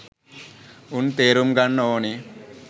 උන් තේරුම් ගන්න ඕනේ